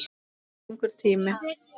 Það er langur tími.